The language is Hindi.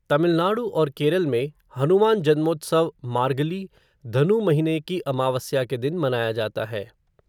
तमिलनाडु और केरल में, हनुमान जन्मोत्सव मार्गली, धनु महीने की अमावस्या के दिन मनाया जाता है।